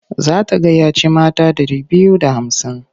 Za ta gayyaci mata ɗari biyu da hamsin.